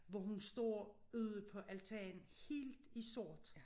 Hvor hun står ude på altanen helt i sort